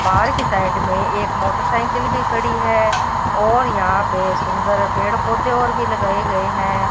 बाहर के साइड में एक मोटरसाइकिल भी खड़ी है और यहां पे सुंदर पेड़ पौधे और भी लगाए गए हैं।